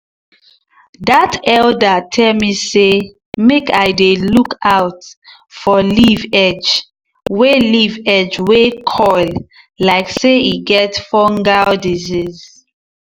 dat elder tell me say make i dey look out for leaf edge wey leaf edge wey curl like say e get fungal disease.